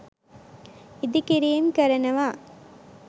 ඉදි කිරීම් කරනවා